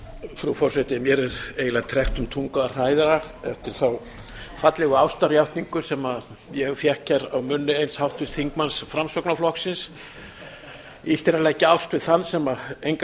frú forseti mér er eiginlega tregt um tungu að hræra eftir þá fallegu ástarjátningu sem ég fékk hér af munni eins háttvirts þingmanns framsóknarflokksins illt er að leggja ást við þann sem enga